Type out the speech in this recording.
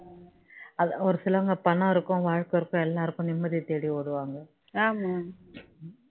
அதான் ஒரு சிலவங்க பணம் இருக்கும் வாழ்க்கை இருக்கும் எல்லாம் இருக்கும் நிம்மதிய தேடி ஓடுவாங்க